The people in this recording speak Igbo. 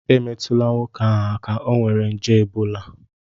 Emetụla nwoke ahụ aka, ọ nwere nje ebola